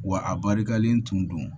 Wa a barikalen tun don